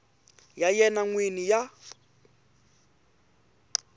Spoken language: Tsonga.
ya yena n wini ya